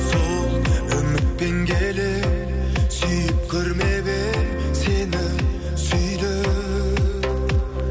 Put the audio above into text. сол үмітпен келемін сүйіп көрмеп едім сені сүйдім